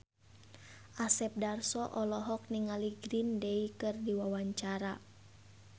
Asep Darso olohok ningali Green Day keur diwawancara